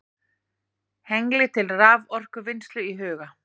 Hengli til raforkuvinnslu í huga.